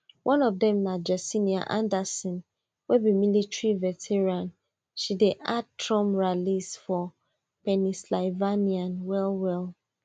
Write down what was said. one of dem na jessenia anderson wey be military veteran she dey at ten d trump rallies for pennsylvania wellwell